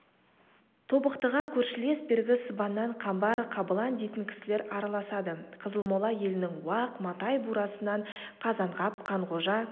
тобықтыға көршілес бергі сыбаннан қамбар қабылан дейтін кісілер араласады қызылмола елінің уақ матай бурасынан қазанғап қанғожа